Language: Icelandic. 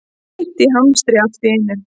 Heitt í hamsi allt í einu.